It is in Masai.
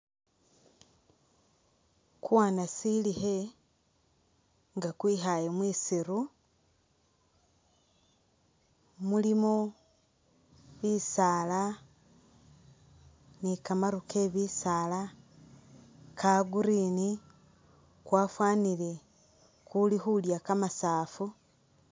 Kuwanasilikhe nga kwikhaaye mwisiru, mulimo ni kamaru ke bisaala kalgreen, kwafwanile kuli khulya kamasaafu.